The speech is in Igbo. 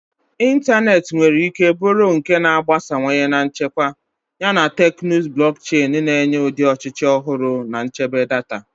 Ịntanetị nwere ike bụrụ nke a na-agbasawanye na nchekwa, yana teknụzụ blockchain na-enye ụdị ọchịchị ọhụrụ na nchebe data.